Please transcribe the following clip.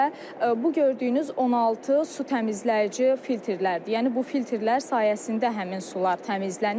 Və bu gördüyünüz 16 su təmizləyici filtrlərdir, yəni bu filtrlər sayəsində həmin sular təmizlənir.